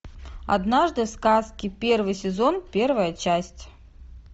однажды в сказке первый сезон первая часть